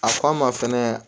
A f'a ma fɛnɛ